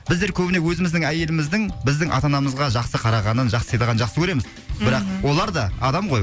біздер көбіне өзіміздің әйеліміздің біздің ата анамызға жақсы қарағанын жақсы сыйлағанын жақсы көреміз бірақ олар да адам ғой